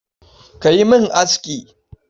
Ka yi min aski.